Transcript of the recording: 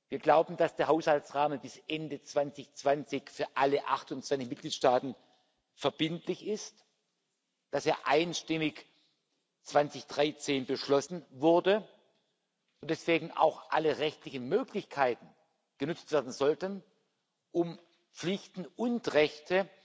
Wir glauben, dass der Haushaltsrahmen bis Ende 2020 für alle 28 Mitgliedstaaten verbindlich ist, dass er 2013 einstimmig beschlossen wurde und deswegen auch alle rechtlichen Möglichkeiten genutzt werden sollten, um Pflichten und Rechte